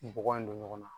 Bɔgɔ in don ɲɔgɔn na